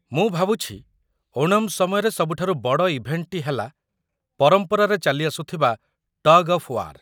ମୁଁ ଭାବୁଛି ଓଣମ୍ ସମୟରେ ସବୁଠାରୁ ବଡ଼ ଇଭେଣ୍ଟଟି ହେଲା ପରମ୍ପରାରେ ଚାଲିଆସୁଥିବା 'ଟଗ୍ ଅଫ୍ ୱାର୍' ।